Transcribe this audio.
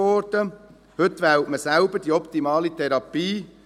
Heute wählt man selbst die optimale Therapie.